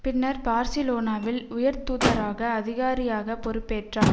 பின்னர் பார்சிலோனாவில் உயர்தூதராக அதிகாரியாக பொறுப்பேற்றார்